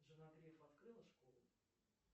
жена грефа открыла школу